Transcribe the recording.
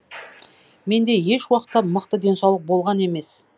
менде еш уақытта мықты денсаулық болған емес